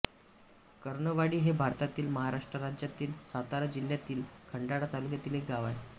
कर्णवाडी हे भारतातील महाराष्ट्र राज्यातील सातारा जिल्ह्यातील खंडाळा तालुक्यातील एक गाव आहे